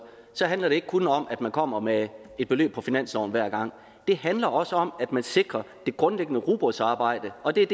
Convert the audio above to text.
handler det ikke kun om at man kommer med et beløb på finansloven hver gang det handler også om at man sikrer det grundlæggende rugbrødsarbejde og det